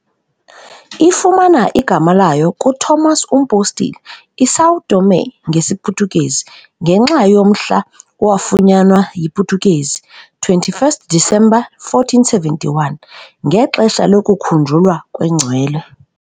Ifumana igama layo kuTomas uMpostile, "iSão Tomé" ngesiPhuthukezi, ngenxa yomhla owafunyanwa yiPutukezi 21st December 1471, ngexesha lokukhunjulwa kwengcwele.